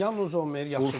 Yan Zommer yaxşı qapıçıdır.